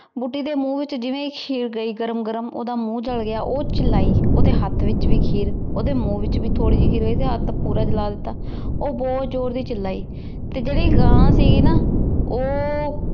ਬੁਧਿ ਦੇ ਮੁਹ ਵਿਚ ਜਿਵੇਂ ਈ ਖੀਰ ਗਈ ਗਰਮ ਗਰਮ ਓਹਦਾ ਮੁਹ ਜਲ ਗਯਾ ਊ ਚਿਲੀ ਓਹਦੇ ਹੇਠ ਵਿਚ ਵੀ ਖੀਰ ਓਹਦੇ ਮੁਹ ਵਿਚ ਵੀ ਥੋਰੀ ਜੀ ਖੀਰ ਓਹਦਾ ਹੇਠ ਪੋਰ ਜਲਾ ਦਿਤਾ ਊ ਬੋਹਤ ਜੋਰ ਦੀ ਚਿਲੀ ਤੇ ਜੇਰੀ ਗਾਂ ਸੀਗੀ ਨਾ ਊ